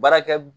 Baarakɛ